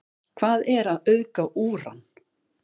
hvað er að auðga úran